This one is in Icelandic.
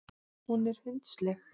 Hún er hundsleg.